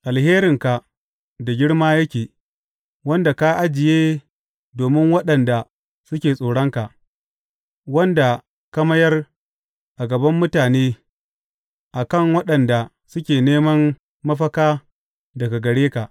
Alherinka da girma yake, wanda ka ajiye domin waɗanda suke tsoronka, wanda ka mayar a gaban mutane a kan waɗanda suke neman mafaka daga gare ka.